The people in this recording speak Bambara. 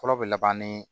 Fɔlɔ bɛ laban ni